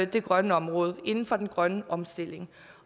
det grønne område og inden for den grønne omstilling